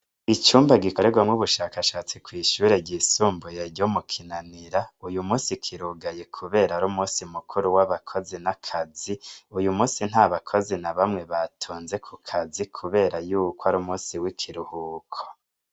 icumba gikorerwamwo ubushakashatsi kwishure ryisumbuye ryo mu kinanira uyu munsi kirugaye kubera ari umunsi mukuru w'abakozi na kazi uyu munsi ntabakozi na bamwe batonze ku kazi kubera yuko ari umunsi w'ikiruhuko